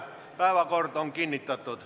Päevakord on kinnitatud.